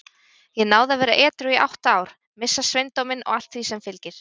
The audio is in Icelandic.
Ég náði að vera edrú í átta ár, missa sveindóminn og allt sem því fylgir.